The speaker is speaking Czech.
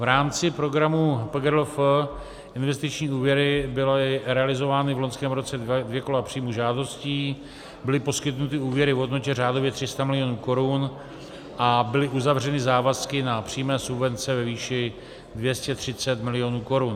V rámci programu PGRLF Investiční úvěry byly realizovány v loňském roce dvě kola příjmu žádostí, byly poskytnuty úvěry v hodnotě řádově 300 milionů korun a byly uzavřeny závazky na přímé subvence ve výši 230 milionů korun.